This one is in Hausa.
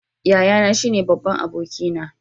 Yayana shine babban abokina.